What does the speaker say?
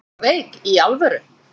Ertu eitthvað veik. í alvöru?